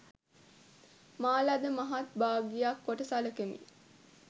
මා ලද මහත් භාග්‍යක් කොට සලකමි